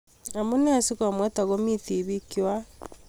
Amunee komwet akomii tibiik kwak?